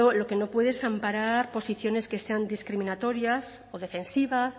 lo que no puede es amparar posiciones que sean discriminatorias o defensivas